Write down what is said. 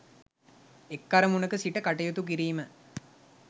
එක් අරමුණක සිට කටයුතු කිරීම